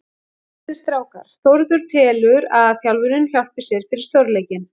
Hressir strákar: Þórður telur að þjálfunin hjálpi sér fyrir stórleikinn.